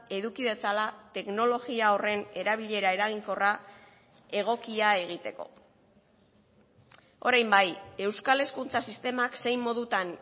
eduki dezala teknologia horren erabilera eraginkorra egokia egiteko orain bai euskal hezkuntza sistemak zein modutan